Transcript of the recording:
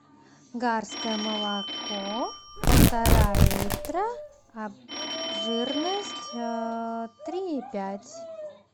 гарское молоко полтора литра жирность три и пять